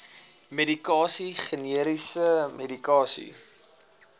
medikasie generiese medikasie